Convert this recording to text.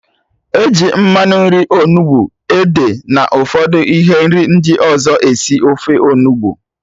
Eji mmanụ nri, onugbu, ede na ụfọdụ ihe nri ndị ọzọ esi ofe Onugbu